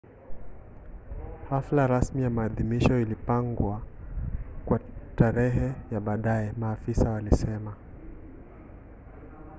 hafla rasmi ya maadhimisho ilipangwa kwa tarehe ya baadaye maafisa walisema